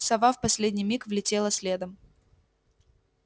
сова в последний миг влетела следом